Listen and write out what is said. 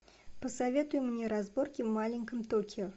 посоветуй мне разборки в маленьком токио